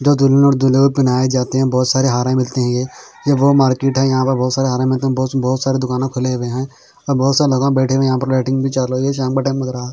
जो पेहनाए जाते है बहोत सारे हारे मिलते हैं ये ये वो मार्केट है यहाँ पर बहोत सारे हारे मिलते बहोत स दुकान खुले हुए है और बहोत से लोग बैठे हुए हैं यहाँ पे लाइटिंग भी चालू हुई है शाम का टाइम लग रहा --